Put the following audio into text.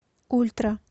ультра